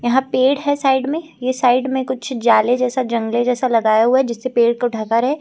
यहां पेड़ है साइड में ये साइड में कुछ जाले जैसा जंगले जैसा लगाया हुआ है जिससे पेड़ को ढका रहे।